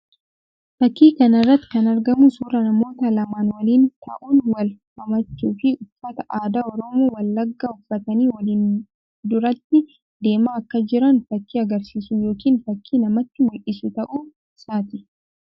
Fakkii kana irratti kan argamu suuraa namoota lamaan waliin ta'uun, wal hammachuu fi uffata aadaa Oromoo Wallaggaa uffatanii waliin duratti deemaa akka jiran fakkii agarsiisuu yookiin fakkii namatti mul'isuu ta'uu isaati.